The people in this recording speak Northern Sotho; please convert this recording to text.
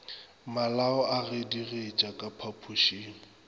malao a gedigetša ka phapošeng